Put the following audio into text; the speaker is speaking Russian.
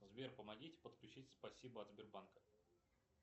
сбер помогите подключить спасибо от сбербанка